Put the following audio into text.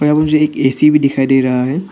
मुझे एक ए_सी भी दिखाई दे रहा है।